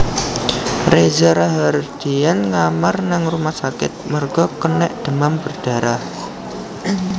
Reza Rahadian ngamar nang rumah sakit merga kenek demam berdarah